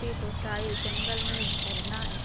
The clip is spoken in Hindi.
जंगल में एक झरना है।